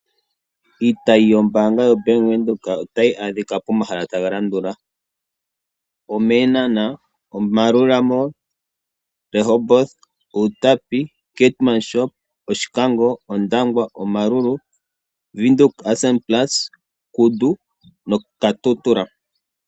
Iitayi yombaanga yaWindhoek otayi adhika pomahala taga landula: omEenhana, oMaerua mall, Rehoboth, Outapi, Keetmanshoop, Oshikango, Ondangwa, Omaruru, Windhoek Ausspannplatz, Kudu noKatutura.